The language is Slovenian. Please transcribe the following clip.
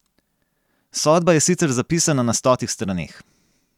Sodba je sicer zapisana na stotih straneh.